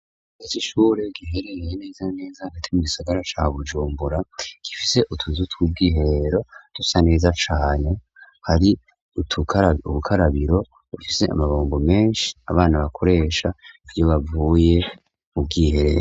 Icoisure gihereye iye neza neza agatima gisagara ca bujumbura gifise utuzutw'ubwiheero dusa neza cane hari ubukarabiro bafise amabambo menshi abana bakoresha ivyo bavuye ubwiherero.